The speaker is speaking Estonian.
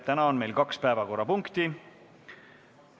Täna on meil kaks päevakorrapunkti.